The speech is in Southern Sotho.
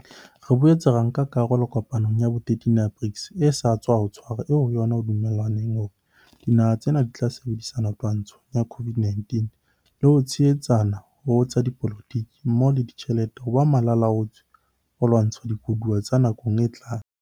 Re boetse ra nka karolo kopanong ya bo 13 ya BRICS e sa tswa tshwarwa eo ho yona ho dumellanweng hore dinaha tsena di tla sebedisana twantshong ya COVID-19 le ho tshehetsana ho tsa dipolo tiki mmoho le ditjhelete ho ba malala-a-laotswe ho lwantsha dikoduwa tsa nakong e tlang.